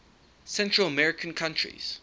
central american countries